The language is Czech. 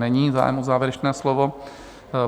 Není zájem o závěrečné slovo.